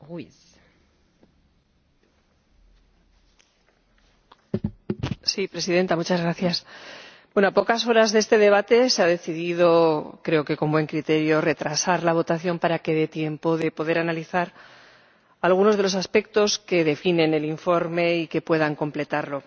Señora Presidenta, a pocas horas de este debate se ha decidido —creo que con buen criterio— retrasar la votación para que dé tiempo a poder analizar algunos de los aspectos que definen el informe y que puedan completarlo.